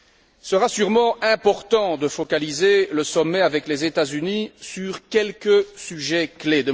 Il sera sûrement important de focaliser le sommet avec les États Unis sur quelques sujets clés.